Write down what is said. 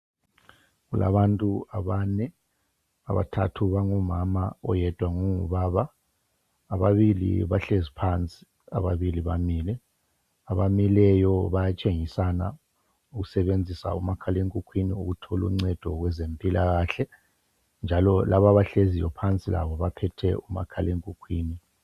Kulabantu abane , abathathu bangomama oyedwa ngongubaba, ababili bahlezi phansi ,ababili bamile. Abamileyo bayatshengisana ukusebenzisa umakhala ekhukwini ukucedisa ezempilakahle njalo laba abahleziyo phansi baphethe umakhala ekhukwini.